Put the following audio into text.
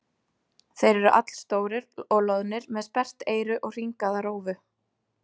Þeir eru allstórir og loðnir með sperrt eyru og hringaða rófu.